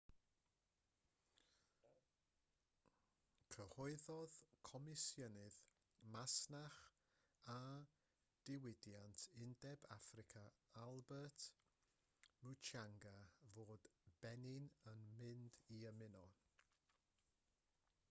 cyhoeddodd comisiynydd masnach a diwydiant undeb affrica albert muchanga fod benin yn mynd i ymuno